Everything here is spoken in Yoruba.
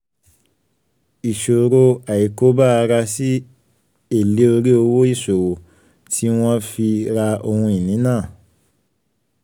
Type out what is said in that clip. ìṣòro (i) àìkọbi ara sí èlè orí owó ìṣòwò tí wọ́n fi ra ohun-ìní náà